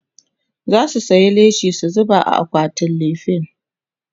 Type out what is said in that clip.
zasu saya leshi su zuba a akwatin lefen